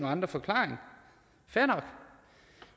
andre forklaringer fair nok